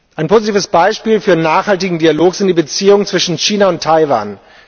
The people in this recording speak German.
Ein positives Beispiel für nachhaltigen Dialog sind die Beziehungen zwischen China und Taiwan.